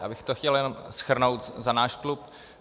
Já bych to chtěl jenom shrnout za náš klub.